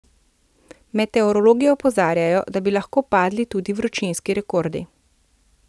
Meteorologi opozarjajo, da bi lahko padli tudi vročinski rekordi.